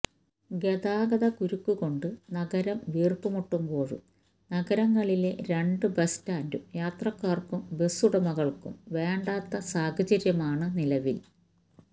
ഗതാഗതകുരുക്ക് കൊണ്ട് നഗരം വീര്പ്പ് മുട്ടുമ്പോഴും നഗരത്തിലെ രണ്ട് ബസ് സ്റ്റാന്ഡും യാത്രക്കാര്ക്കും ബസുടമകള്ക്കും വേണ്ടാത്ത സാഹചര്യമാണ് നിലവില്